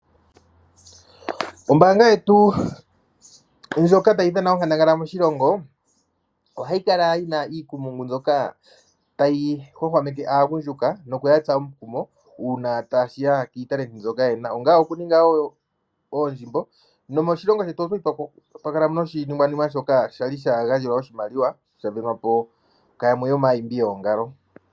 Ombaanga yetu ndjoka tayi dhana onkandangala moshilongo, ohayi kala yi na iikumpungu mbyoka tayi hwahwameke aagundjuka nokuya tsa omukumo uuna tashi ya kiitalenti mbyoka yena. Onga okuningai oondjimbo, no moshilongo shetu okwali twa kalamo noshiningwanima shoka sha gandja oshimaliwa, sha sindanwapo ku yamwe yo maayimbi yoongalo.